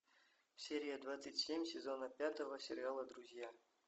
серия двадцать семь сезона пятого сериала друзья